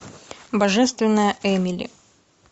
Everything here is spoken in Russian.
божественная эмили